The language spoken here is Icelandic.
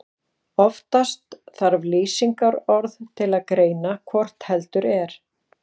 Oftast þarf lýsingarorð til að greina hvort heldur er.